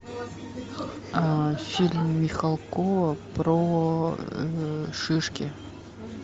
фильм михалкова про шишки